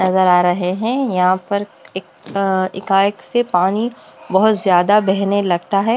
नजर आ रहे हैं यहां पर एक अं एका एक से पानी बहोत ज्यादा बहने लगता है।